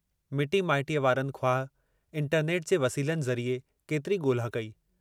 मिटी माइटीअ वारन ख़्वाहि इंटरनेट जे वसीलनि जरिए केतिरी ॻोल्हा कई।